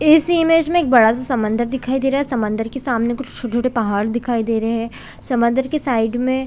इस इमेज में एक बड़ा- सा समंदर दिखाई दे रहा है समंदर के सामने कुछ छोटे-छोटे पहाड़ दिखाई दे रहे है समंदर के साइड में --